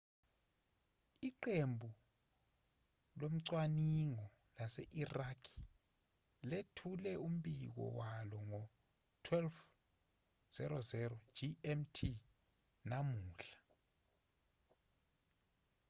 iqembu locwaningo lase-iraq lethule umbiko walo ngo-12,00 gmt namuhla